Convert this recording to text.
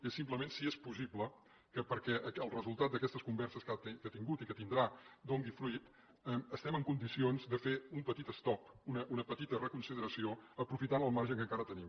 és simplement si és possible que perquè el resultat d’aquestes converses que ha tingut i que tindrà doni fruit estiguem en condicions de fer un petit estop una petita reconsideració aprofitant el marge que encara tenim